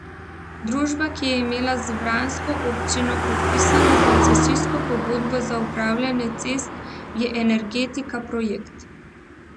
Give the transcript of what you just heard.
Družba, ki je imela z vransko občino podpisano koncesijsko pogodbo za upravljanje cest je Energetika Projekt.